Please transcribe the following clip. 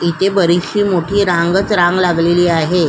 इथे बरीचशी मोठीच मोठी रांगच रांग लागलेली आहे.